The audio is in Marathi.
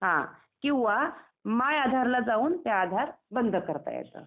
किंवा माय आधारला जाऊन ते आधार बंद करता येतं.